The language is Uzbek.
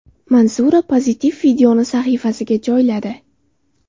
Manzura pozitiv videoni sahifasiga joyladi.